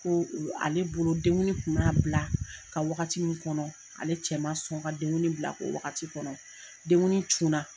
Ko ale bolo denguli kun bɛ na bila ka wagati min kɔnɔ ale cɛ man sɔn ka denguli bila ko wagati kɔnɔ denguli cun na.